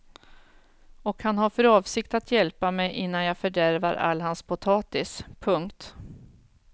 Och att han har för avsikt att hjälpa mig innan jag fördärvar all hans potatis. punkt